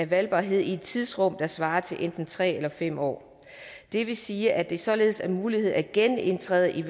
valgbarhed i et tidsrum der svarer til enten tre eller fem år det vil sige at det således er en mulighed at genindtræde i